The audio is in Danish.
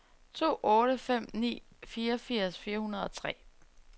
to otte fem ni fireogfirs fire hundrede og tre